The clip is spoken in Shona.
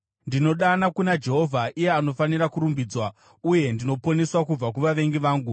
Ndinodana kuna Jehovha, iye anofanira kurumbidzwa, uye ndinoponeswa kubva kuvavengi vangu.